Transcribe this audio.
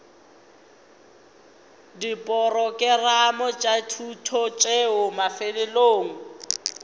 diporokerama tša thuto tšeo mafelelong